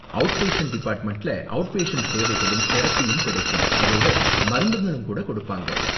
Out patient டிபார்ட்மெண்ட்ல out patient சேவைகளும் தெரபியும் கிடைக்கும், அதோட மருந்துங்களும் கூட கொடுப்பாங்க.